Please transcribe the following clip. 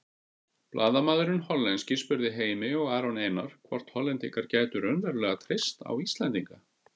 Blaðamaðurinn hollenski spurði Heimi og Aron Einar hvort Hollendingar gætu raunverulega treyst á Íslendinga.